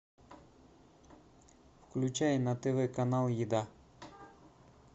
включай на тв канал еда